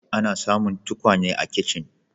Ana samun tukwane a kicin.